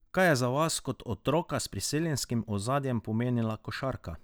Kaj je za vas kot otroka s priseljenskim ozadjem pomenila košarka?